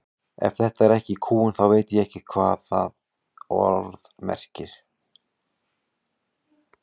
Ef þetta er ekki kúgun þá veit ég ekki hvað það orð merkir.